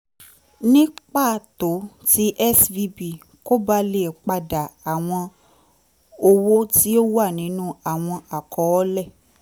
ni pato ti svb ko ba le pada awọn owo ti o wa ninu awọn akọọlẹ